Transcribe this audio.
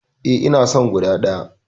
Eh, ina son guda ɗaya.